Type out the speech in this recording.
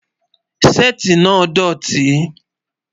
Sétì náà dọ̀tì.